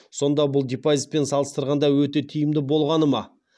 сонда бұл депозитпен салыстырғанда өте тиімді болғаны ма